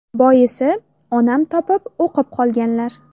Boisi, onam topib o‘qib qolganlar.